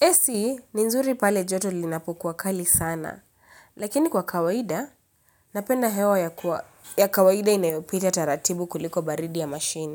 AC ni nzuri pale joto linapokuwa kali sana. Lakini kwa kawaida, napenda hewa ya kawaida inayopita taratibu kuliko baridi ya mashini.